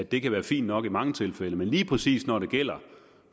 det kan være fint nok i mange tilfælde men lige præcis når det gælder